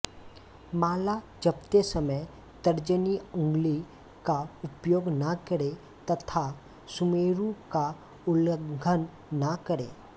माला जपते समय तर्जनी उंगली का उपयोग न करें तथा सुमेरु का उल्लंघन न करें